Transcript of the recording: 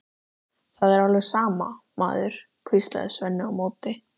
Það er alveg sama, maður, hvíslaði Svenni á móti.